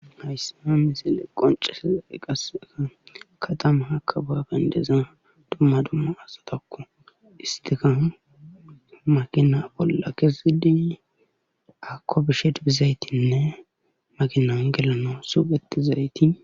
Hayssa misile qonccisiday qassekka katamakko baaban diza dumma dumma asatakko isttikka makina bolla kezidi auko bishe dizaytinne makinan gelanas woxxizayti..